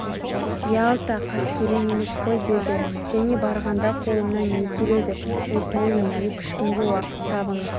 ялта қаскелең емес қой -деді және барғанда қолымнан не келеді Өтінемін екі үш күнге уақыт табыңыз